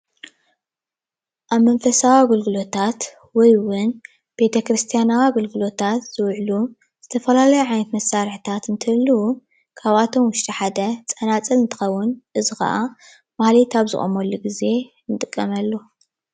ኣብ መንፈሳዊ ኣገልግሎታት ወይ ቤተ-ክርስትናዊ ኣገልግሎታት ዝውዕሉ ዝተፈላለዩ ዓይነት መሳርሒታት እንትህልዉ ካብኣቶም ውሽጢ ሓደ ፀናፅል እንትከውን እዚ ካኣ ማህሌት ኣብ ዝቆመሉ ግዜ እንጥቀመሉ።